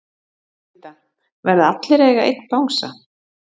Linda: Verða allir að eiga einn bangsa?